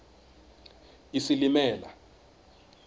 isilimela